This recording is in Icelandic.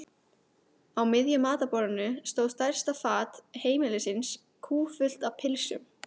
Á miðju matarborðinu stóð stærsta fat heimilisins kúffullt af pylsum.